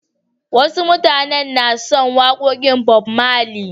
Wasu mutanen na son waƙoƙin Bob Marley.